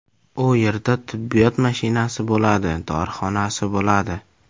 U yerda tibbiyot mashinasi bo‘ladi, dorixonasi bo‘ladi.